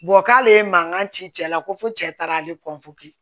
k'ale ye mankan ci cɛ la ko fɔ cɛ taara ale kɔntoki